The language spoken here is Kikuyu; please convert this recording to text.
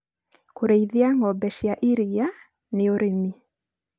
kũreithia ng'ombe cia ĩrĩa nĩ ũrĩmi.